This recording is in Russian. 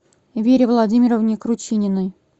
вере владимировне кручининой